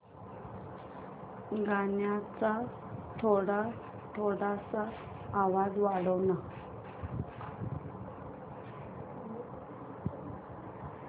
गाण्याचा थोडा आवाज वाढव ना